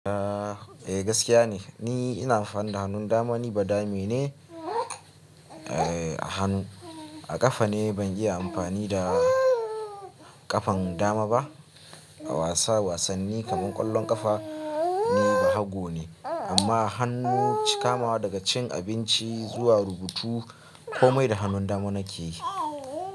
Eh gaskiya ne, ni ina amfani da hannun dama ni ba dame ne, eh hannu a ƙafa ne ban iya amfani da ƙafan dama ba. A wasa wasanni kamar ƙwallon ƙafa ni bahago ne amma hannu kamawa daga cin abinci zuwa rubutu komai da hannun dama nake yi.